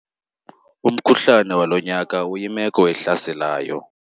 Umkhuhlane walo nyaka uyimeko ehlaselayo.